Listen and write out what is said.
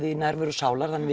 í nærveru sálar þannig